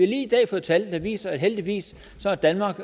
lige i dag fået tal der viser at heldigvis har danmark